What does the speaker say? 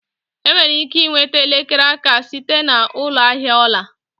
Enwere ike nweta elekere aka site na ụlọ ahịa ọla